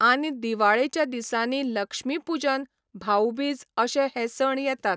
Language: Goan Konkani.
आनी दिवाळेच्या दिसांनी लक्ष्मी पुजन भाऊबीज अशें हें सण येतात